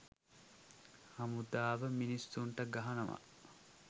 හමුදාව මිනිස්සුන්ට ගහනවා